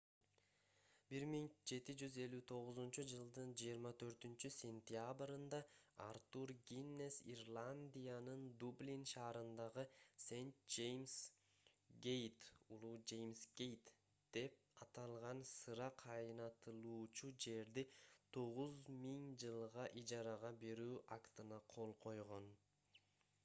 1759-жылдын 24-сентябрында артур гиннес ирландиянын дублин шаарындагы st james gate улуу жеймс гейт деп аталган сыра кайнатылуучу жерди 9000 жылга ижарага берүү актына кол койгон